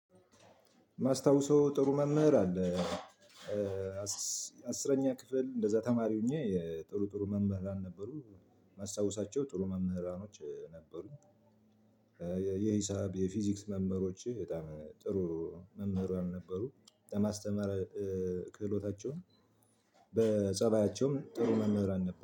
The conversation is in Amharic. ከማስታውሰው ጥሩ መምህር አለ። አስረኛ ክፍል እንደዛ ተማሪ ሆኜ ጥሩ ጥሩ መምህራን ነበሩ። ማስታውሳቸው ጥሩ መምህራኖች ነበሩ። የሂሳብ የፊዚክስ መምህሮቼ በጣም ጥሩ መምህር ያልነበሩ የማስተማር ክህሎታቸውን በፀባያቸውም ጥሩ መምህራን ነበር